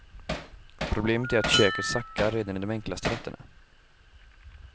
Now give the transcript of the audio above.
Problemet är att köket sackar redan i de enklaste rätterna.